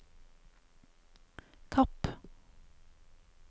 Kapp